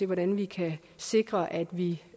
hvordan vi kan sikre at vi